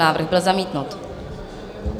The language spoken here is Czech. Návrh byl zamítnut.